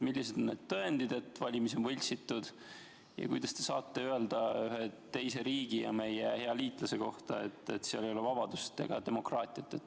Millised on need tõendid, et valimisi on võltsitud, ja kuidas te saate öelda ühe teise riigi ja meie hea liitlase kohta, et seal ei ole vabadust ega demokraatiat?